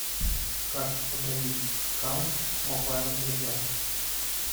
как удалить аккаунт в мобайл легенд